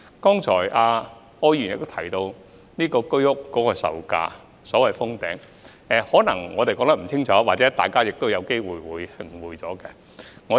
柯議員剛才亦提到居屋售價的問題，我們可能說得不清楚或大家可能有誤會。